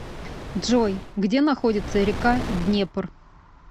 джой где находится река днепр